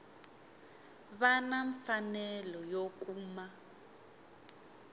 va na mfanelo yo kuma